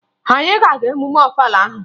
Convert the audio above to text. Anyị a ga-aga emume Ọfala ahụ?